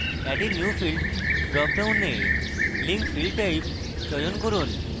add a new field drop ডাউনে link field type চয়ন করুন